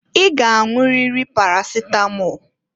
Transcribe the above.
I g'anwụriri parasịtamọl!